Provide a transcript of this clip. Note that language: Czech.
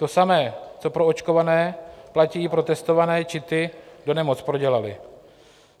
To samé, co pro očkované, platí i pro testované či ty, kdo nemoc prodělali.